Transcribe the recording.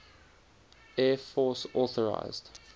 air force authorised